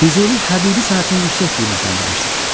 Füzuli Həbibi sənətini yüksək qiymətləndirmişdir.